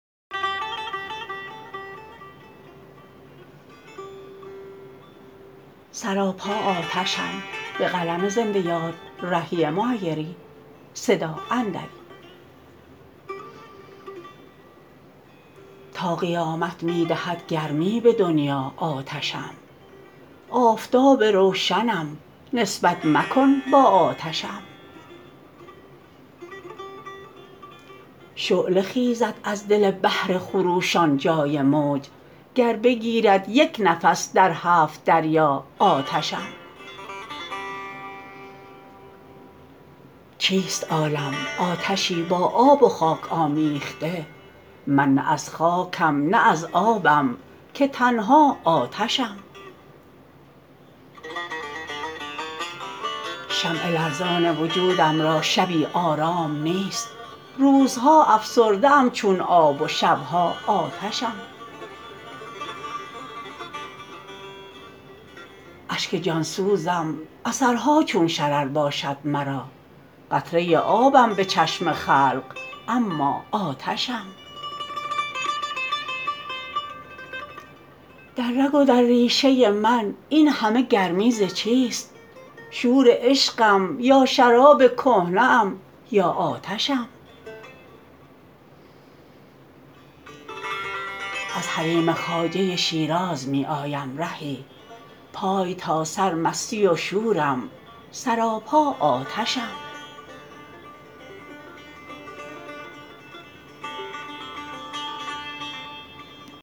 تا قیامت می دهد گرمی به دنیا آتشم آفتاب روشنم نسبت مکن با آتشم شعله خیزد از دل بحر خروشان جای موج گر بگیرد یک نفس در هفت دریا آتشم چیست عالم آتشی با آب و خاک آمیخته من نه از خاکم نه از آبم که تنها آتشم شمع لرزان وجودم را شبی آرام نیست روزها افسرده ام چون آب و شب ها آتشم اشک جان سوزم اثرها چون شرر باشد مرا قطره آبم به چشم خلق اما آتشم در رگ و در ریشه من این همه گرمی ز چیست شور عشقم یا شراب کهنه ام یا آتشم از حریم خواجه شیراز می آیم رهی پای تا سر مستی و شورم سراپا آتشم